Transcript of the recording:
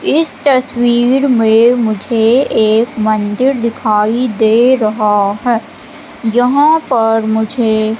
इस तस्वीर में मुझे एक मंदिर दिखाई दे रहा है यहां पर मुझे--